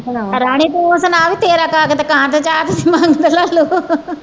ਰਾਣੀ ਤੁੰ ਸੁਣਾ ਵੀ ਤੇਰਾ